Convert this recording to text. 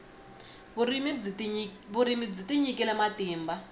vurimi byi tinyikile matimba